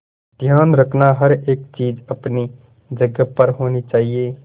ध्यान रखना हर एक चीज अपनी जगह पर होनी चाहिए